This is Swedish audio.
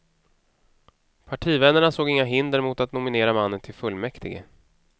Partivännerna såg inga hinder mot att nominera mannen till fullmäktige.